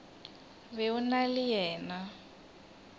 be o na le yena